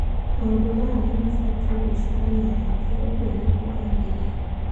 Maũndũ maya nĩ mabatie gwĩcũrania rĩngĩ". ũguo nĩguo oigire.